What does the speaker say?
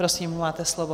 Prosím, máte slovo.